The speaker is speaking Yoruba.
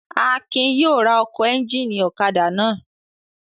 Akin yóò ra ẹ́ńjínì ọ̀kadà náà.